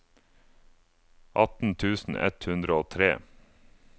atten tusen ett hundre og tre